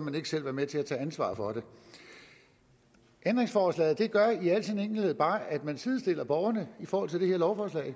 man ikke selv være med til at tage ansvar for det ændringsforslaget gør i al sin enkelhed bare at man sidestiller borgerne i forhold til det her lovforslag